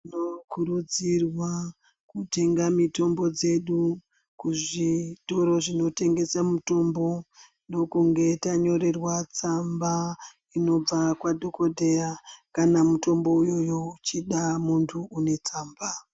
Tinokurudzirea kutenga mitombo dzedu kuzvitoro zvinotengesa mitombo ndokunge tanyorerwa tsamba inobva kwadhogodheya kana mutombo uyoyo uchida munhu unetsamba.